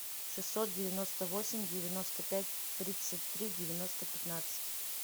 шестьсот девяносто восемь девяносто пять тридцать три девяносто пятнадцать